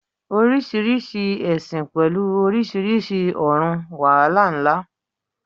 Oríṣiríṣi ẹ̀sìn pẹ̀lú oríṣiríṣi ọ̀run, wàhálà ńlá.